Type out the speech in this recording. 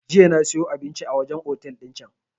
Jiya na siyo abinci a wajen otel din can